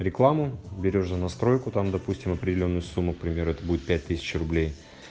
рекламу берёшь за настройку там допустим определённую сумму к примеру это будет пять тысяч